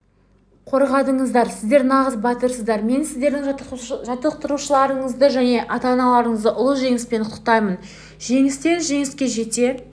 қорғадыңыздар сіздер нағыз батырсыздар мен сіздердің жаттықтырушыларыңызды және ата-аналарыңызды ұлы жеңіспен құттықтаймын жеңістен жеңіске жете